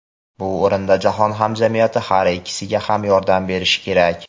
Bu o‘rinda jahon hamjamiyati har ikkisiga ham yordam berishi kerak.